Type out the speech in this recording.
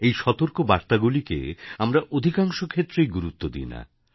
এই সতর্কবার্তাগুলিকে আমরা অধিকাংশ ক্ষেত্রেই গুরুত্ব দিই না